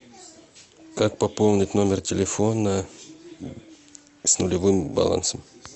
как пополнить номер телефона с нулевым балансом